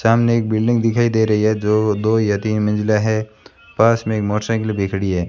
सामने एक बिल्डिंग दिखाई दे रही है जो दो या तीन मंजिला है पास में एक मोटरसाइकिल भी खड़ी है।